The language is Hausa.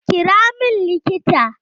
Kira min likita!